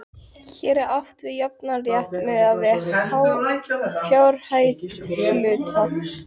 Hér er átt við jafnan rétt miðað við fjárhæð hluta.